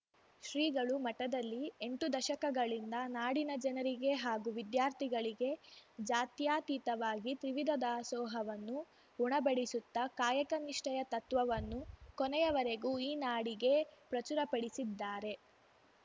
ಶ್ರೀಗಳು ಮಠದಲ್ಲಿ ಎಂಟು ದಶಕಗಳಿಂದ ನಾಡಿನ ಜನರಿಗೆ ಹಾಗೂ ವಿದ್ಯಾರ್ಥಿಗಳಗೆ ಜಾತ್ಯತೀತವಾಗಿ ತ್ರಿವಿಧ ದಾಸೋಹವನ್ನು ಉಣಬಡಿಸುತ್ತ ಕಾಯಕ ನಿಷ್ಠೆಯ ತತ್ವವನ್ನು ಕೊನೆಯವರೆಗೂ ಈ ನಾಡಿಗೆ ಪ್ರಚುರಪಡಿಸಿದ್ದಾರೆ